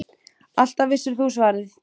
Alltaf vissir þú svarið.